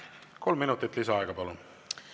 Kolm minutit lisaaega, palun!